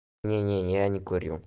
не не я не курю